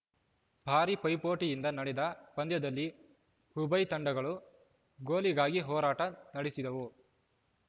ಭಾರೀ ಪೈಪೋಟಿಯಿಂದ ನಡೆದ ಪಂದ್ಯದಲ್ಲಿ ಉಭಯ ತಂಡಗಳು ಗೋಲಿಗಾಗಿ ಹೋರಾಟ ನಡೆಸಿದವು